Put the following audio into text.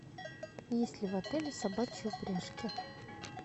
есть ли в отеле собачьи упряжки